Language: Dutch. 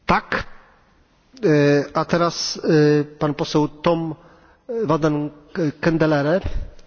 Voorzitter, in de nasleep van het paardenvleesschandaal is de aandacht voor de voedseletikettering verscherpt en dat is een goede zaak.